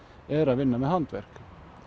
eru að vinna með handverk